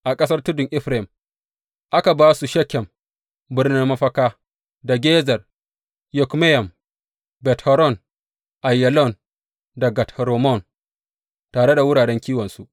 A ƙasar tudun Efraim aka ba su Shekem birnin mafaka, da Gezer, Yokmeyam, Bet Horon, Aiyalon da Gat Rimmon, tare da wuraren kiwonsu.